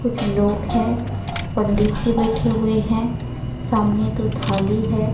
कुछ लोग हैं पंडित जी बैठे हुए हैं सामने तो थाली हैं।